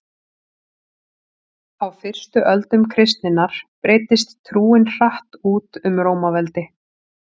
á fyrstu öldum kristninnar breiddist trúin hratt út um rómaveldi